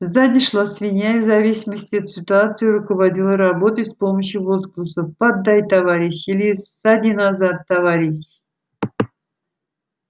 сзади шла свинья и в зависимости от ситуации руководила работой с помощью возгласов поддай товарищ или ссади назад товарищ